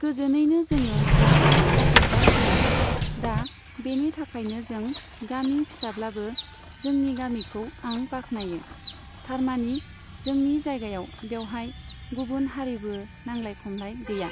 गोजोनैनो जोङो भ'टखौ जाफुंसारहोयो। दा बेनि थाखायनो जों गामि फिसाब्लाबो जोंनि गामिखौ आं बाखनायो। थारमानि जोंनि जायगायाव बेवहाय गुबुन हारिबो नांलाय खमलाय गैया।